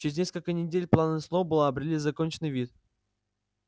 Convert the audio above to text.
через несколько недель планы сноуболла обрели законченный вид